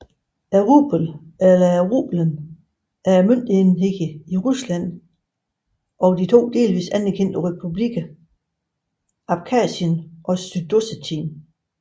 Rublen eller rubelen er møntenheden i Rusland og de to delvist anerkendte republikker Abkhasien og Sydossetien